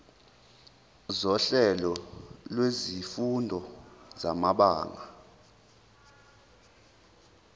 sohlelo lwezifundo samabanga